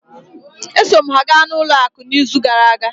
E so m ha ga n'ụlọ akụ n'izu gara aga.